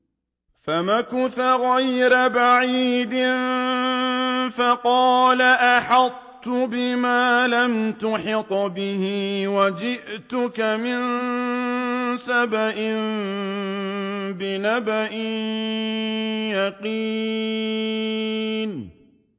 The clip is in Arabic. فَمَكَثَ غَيْرَ بَعِيدٍ فَقَالَ أَحَطتُ بِمَا لَمْ تُحِطْ بِهِ وَجِئْتُكَ مِن سَبَإٍ بِنَبَإٍ يَقِينٍ